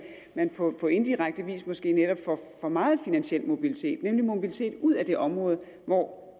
på indirekte vis måske netop får for meget finansiel mobilitet nemlig mobilitet ud af det område hvor